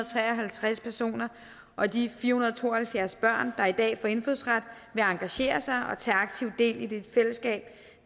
tre og halvtreds personer og de fire hundrede og to og halvfjerds børn der i dag får indfødsret vil engagere sig og tage aktivt del i det fællesskab